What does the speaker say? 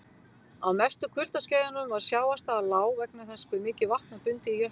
Á mestu kuldaskeiðunum var sjávarstaða lág vegna þess hve mikið vatn var bundið í jöklum.